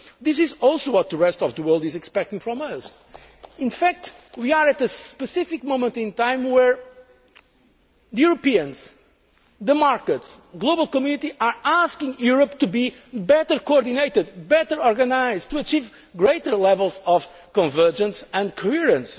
This is also what the rest of the world is expecting from us. In fact, we are at a specific moment in time where Europeans, the markets and the global community are asking Europe to be better coordinated and better organised to achieve greater levels of convergence and coherence.